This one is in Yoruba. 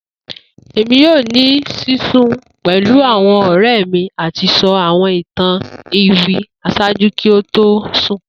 Emi yoo ni sisun pẹlu awọn ọrẹ mi ati sọ awọn itan iwin ṣaaju ki a to sun